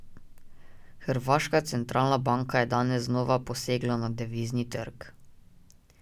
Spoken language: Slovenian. Hrvaška centralna banka je danes znova posegla na devizni trg.